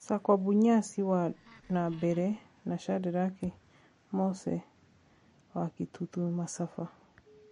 Sakwa Bunyasi wa Nambale na Shadrack Mose wa Kitutu Masaba.